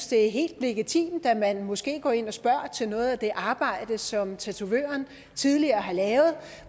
det er helt legitimt at man måske går ind og spørger til noget af det arbejde som tatovøren tidligere har lavet